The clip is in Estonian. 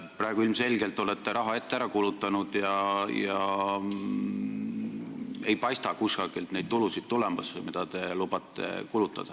Praegu olete te ilmselgelt raha ette ära kulutanud ja kusagilt ei paista tulemas neid tulusid, mida te lubate kulutada.